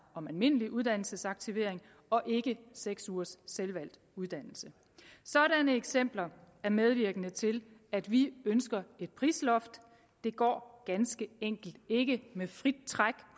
om almindelig uddannelsesaktivering og ikke seks ugers selvvalgt uddannelse sådanne eksempler er medvirkende til at vi ønsker et prisloft det går ganske enkelt ikke med frit træk